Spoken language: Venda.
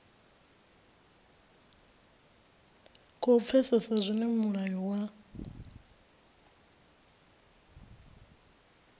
khou pfesesa zwine mulayo wa